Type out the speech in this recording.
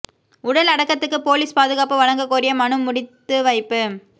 உடல் அடக்கத்துக்கு போலீஸ் பாதுகாப்பு வழங்க கோரிய மனு முடித்து வைப்பு